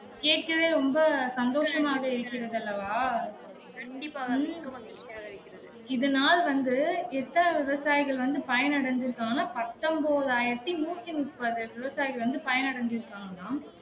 கேக்கவே ரொம்ப சந்தோஷமாக இருக்கிறது அல்லவா இதனால் வந்து எத்தன விவசாயிகள் வந்து பயன் அடைஞ்சிருக்காங்க பத்தொன்பது ஆயிரத்தி நூத்தி முப்பது விவசாயிகள் வந்து பயன் அடைஞ்சிருக்காங்கலாம்